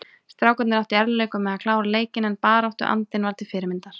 Strákarnir áttu í erfiðleikum með að klára leikinn en baráttuandinn var til fyrirmyndar.